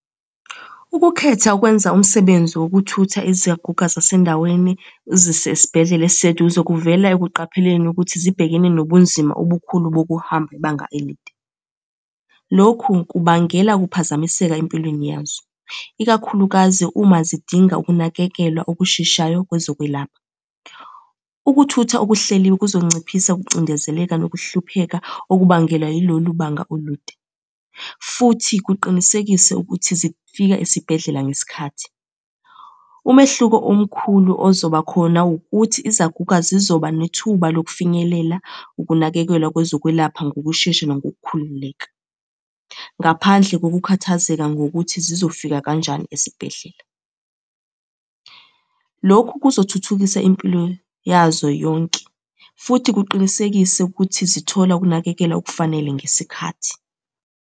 Ukukhetha ukwenza umsebenzi wokuthutha izaguga zasendaweni uzise esibhedlela esiseduze kuvela ekuqapheleni ukuthi zibhekene nobunzima obukhulu bokuhamba ibanga elide. Lokhu kubangela ukuphazamiseka empilweni yazo, ikakhulukazi uma zidinga ukunakekelwa okusheshayo kwezokwelapha. Ukuthutha okuhleliwe kuzonciphisa ukucindezeleka nokuhlupheka okubangelwa yilolu banga olude, futhi kuqinisekise ukuthi zifika esibhedlela ngesikhathi. Umehluko omkhulu ozoba khona ukuthi izaguga zizoba nethuba lokufinyelela ukunakekelwa kwezokwelapha ngokushesha nangokukhululeka, ngaphandle kokukhathazeka ngokuthi zizofika kanjani esibhedlela. Lokhu kuzothuthukisa impilo yazo yonke, futhi kuqinisekise ukuthi zithola ukunakekelwa okufanele ngesikhathi.